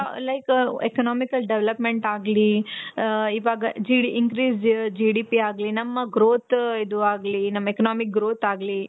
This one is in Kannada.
like ಅದ್ರಿಂದ economical development ಆಗ್ಲಿ, ಇವಾಗ increase G D P ಆಗ್ಲಿ ನಮ್ಮ growth ಇದು ಆಗ್ಲಿ economic growth ಆಗ್ಲಿ.